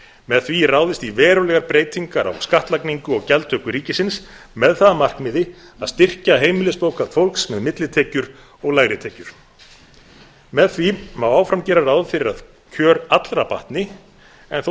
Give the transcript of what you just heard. með því er ráðist í verulegar breytingar á skattlagningu og gjaldtöku ríkisins með það að markmiði að styrkja heimilisbókhald fólks með millitekjur og lægri tekjur með því má áfram gera ráð fyrir að kjör allra batni en þó